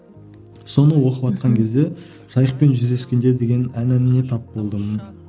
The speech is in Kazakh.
соны оқыватқан кезде жайықпен жүздескендер деген әніне тап болдым